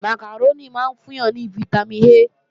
Màkàrónì máa ń fún yàn ní fítámìn A